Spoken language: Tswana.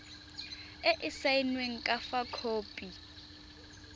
e e saenweng fa khopi